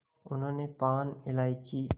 उन्होंने पान इलायची